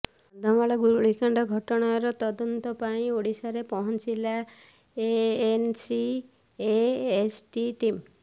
କନ୍ଧମାଳ ଗୁଳିକାଣ୍ଡ ଘଟଣାର ତଦନ୍ତ ପାଇଁ ଓଡିଶାରେ ପହଂଚିଲା ଏନସିଏସଟି ଟିମ୍